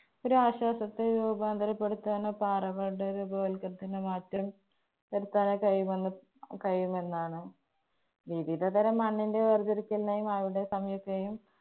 ഒരാശ്വാസത്തെ രൂപാന്തരപ്പെടുത്താനോ പാറ പെടുത്താനോ കഴിയുമെന്നോ, കഴിയുമെന്നാണ് വിവിധതരം മണ്ണിന്‍റെ വേര്‍തിരിക്കലിനായി സമീപിക്കുകയും